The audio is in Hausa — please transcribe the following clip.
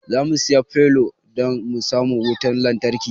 Zamu siya fole dan mu samu wutan lantarki